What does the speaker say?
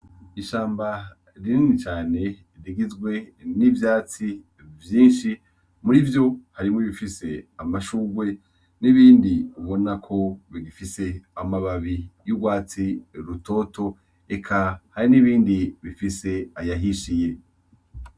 Ishamba rinini cane rigizwe n’ivyatsi vyinshi , muri vyo harimwo ibifise amashurwe n’ibindi ubona ko bigifise amababi y’urwatsi rutoto eka hari n’ibindi bifise ayahishiye .